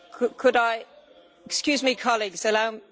Excuse me colleagues, allow me to answer.